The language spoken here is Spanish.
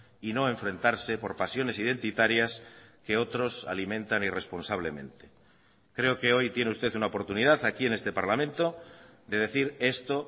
y no enfrentarse por pasiones identitarias que otros alimentan irresponsablemente creo que hoy tiene usted una oportunidad aquí en este parlamento de decir esto